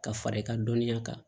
Ka fara i ka dɔnniya kan